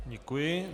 Děkuji.